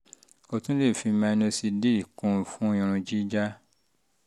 o tún lè fi minoxidil kún un fún irun jíjá